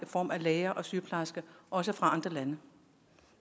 form af læger og sygeplejersker også fra andre lande